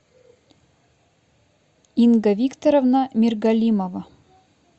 инга викторовна миргалимова